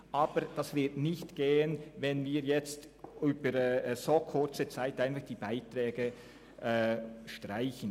Aber das wird nicht funktionieren, wenn wir in so kurzer Zeit die Beiträge streichen.